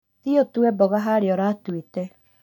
Thiĩ ũtue mboga haria ũratuĩte